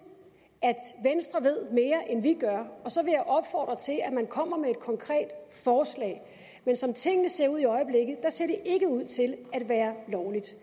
at venstre ved mere end vi gør og så vil jeg opfordre til at man kommer med et konkret forslag men som tingene ser ud i øjeblikket ser det ikke ud til at være lovligt